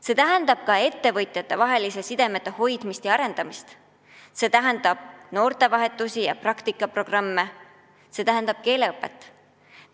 See tähendab ka ettevõtjatevaheliste sidemete hoidmist ja arendamist, see tähendab noortevahetust ja praktikaprogramme, see tähendab keeleõpet.